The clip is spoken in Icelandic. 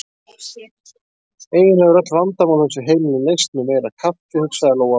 Eiginlega eru öll vandamál á þessu heimili leyst með meira kaffi, hugsaði Lóa-Lóa.